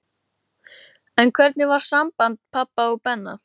En hvernig var samband pabba og Benna?